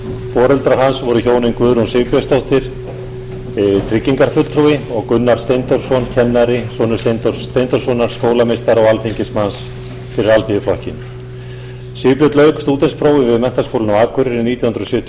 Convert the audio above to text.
foreldrar hans voru hjónin guðrún sigbjörnsdóttir tryggingarfulltrúi og gunnar steindórsson kennari sonur steindórs steindórssonar skólameistara og alþingismanns fyrir alþýðuflokkinn sigbjörn lauk stúdentsprófi við menntaskólann á akureyri nítján hundruð sjötíu og